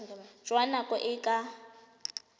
jwa nako e e ka